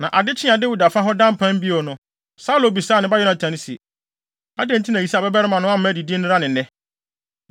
Na ade kyee a Dawid afa hɔ ada mpan bio no, Saulo bisaa ne ba Yonatan se, “Adɛn nti na Yisai babarima no amma adidi nnɛra ne nnɛ?”